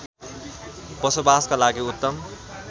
बसोबासका लागि उत्तम